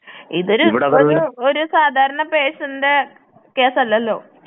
ഇതൊരു ഒരു സാധാരണ പേഴ്സൺന്റെ കേസല്ലല്ലൊ?